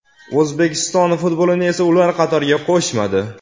O‘zbekiston futbolini esa ular qatoriga qo‘shmadi.